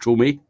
Tome